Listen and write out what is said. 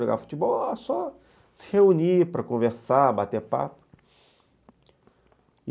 Jogar futebol, só se reunir para conversar, bater papo.